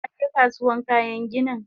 Kaje Kasuwan kayan ginin?